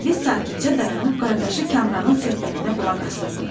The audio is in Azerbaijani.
Pərviz sakitcə dayanıb qardaşı Kamranın söhbətinə qulaq asırdı.